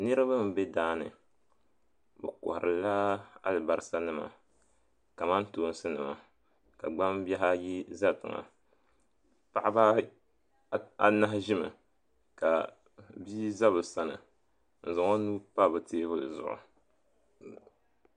Niriba mbe daani bɛ koharila alibasa nima kamantoosi nima ka gbambihi ayi za tiŋa paɣaba anahi ʒimi ka bia za bɛ sani n zaŋ o nuu n pa bɛ teebuli zuɣu.